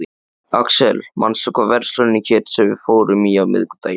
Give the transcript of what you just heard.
Axel, manstu hvað verslunin hét sem við fórum í á miðvikudaginn?